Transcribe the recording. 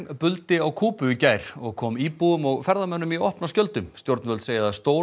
buldi á Kúbu í gær og kom íbúum og ferðamönnum í opna skjöldu stjórnvöld segja að að stór